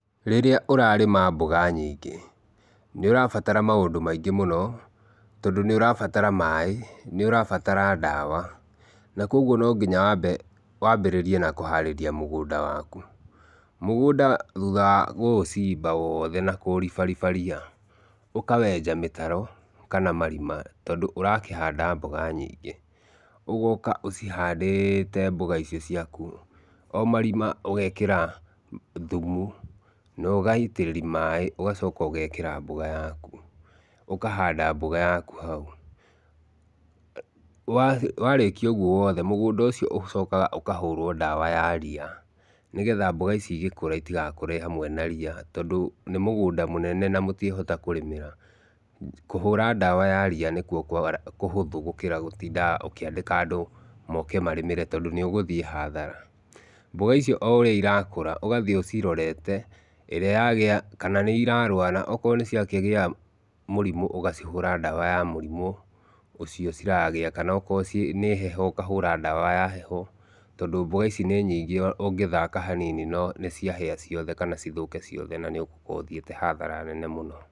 Rĩrĩa ũrarĩma mboga nyingĩ nĩ ũrabatara maũndũ maingĩ mũno, tondũ nĩ ũrabatara maĩ, nĩ ũrabatara ndawa, na kuoguo no nginya wambĩrĩrie na kũharĩria mũgũnda waku. Mũgũnda thutha wa gũũcimba wothe na kũũribariba ria, ũkawenja mĩtaro kana marima tondũ ũrakĩhanda mboga nyingĩ. Ũgoka ũcihandĩte mboga icio ciaku, o marima ũgekĩra thumu na ũgaitĩrĩria maĩ ũgacoka ũgekĩra mboga yaku. Ũkahanda mboga yaku hau. Warĩkia ũguo wothe mũgũnda ũcio ũcokaga ũkahũrwo ndawa ya ria, nĩgetha mboga ici igĩkũra itigakũre hamwe na ria, tondũ nĩ mũgũnda mũnene na mũtiĩhota kũrĩmĩra. Kũhũra ndawa ya ria nĩkuo kũhũthũ gũkĩra gũtinda ũkĩandĩka andũ moke marĩmĩre tondũ nĩũgũthiĩ hathara. Mboga icio o ũrĩa irakũra ũgathiĩ ũcirorete ĩrĩa yagĩa kana nĩ irarwara. Okorwo nĩciakĩgĩa mũrimũ ũgacihũra ndawa ya mũrimũ ũcio ciragĩa, kana akorwo nĩ heho ũkahũra ndawa ya heho, tondũ mboga ici nĩ nyingĩ ũngĩthaka hanini no nĩciahĩa ciothe, kana cithũke ciothe, na nĩũgũkorwo ũthiĩte hathara nene mũno.